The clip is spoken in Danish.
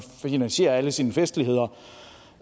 finansiere alle sine festligheder